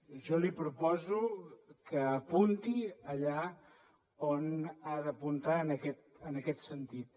jo li proposo que apunti allà on ha d’apuntar en aquest sentit